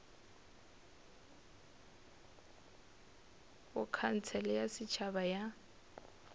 go khansele ya setšhaba ya